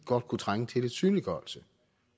godt kunne trænge til lidt synliggørelse